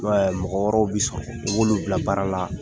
I ma ye mɔgɔ wɛrɛw be sɔn i b'olu bila baara la